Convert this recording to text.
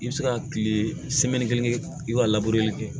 I bɛ se ka kile kelen kɛ i b'a kɛ